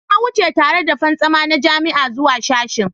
Na wuce tare da fantsama na jami'a zuwa sashen